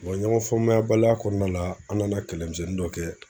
ɲɔgɔn faamuyabaliya kɔnɔna la, an nana kɛlɛmisɛnnin dɔ kɛ